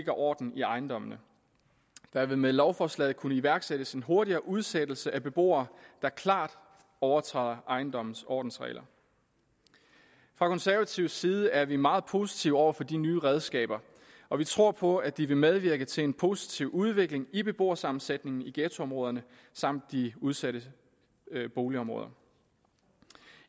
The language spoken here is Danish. orden i ejendommene der vil med lovforslaget kunne iværksættes en hurtigere udsættelse af beboere der klart overtræder ejendommens ordensregler fra konservativ side er vi meget positive over for de nye redskaber og vi tror på at de vil medvirke til en positiv udvikling i beboersammensætningen i ghettoområderne samt de udsatte boligområder